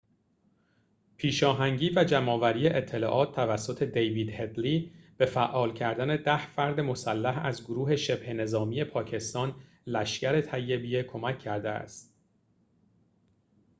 پیشاهنگی و جمع‌آوری اطلاعات توسط دیوید هدلی به فعال کردن ۱۰ فرد مسلح از گروه شبه نظامی پاکستان لشکر طیبه کمک کرده است